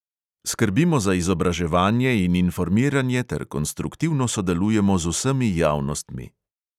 Skrbimo za izobraževanje in informiranje ter konstruktivno sodelujemo z vsemi javnostmi.